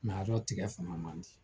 Mɛ a yɔrɔ tigɛ fama man di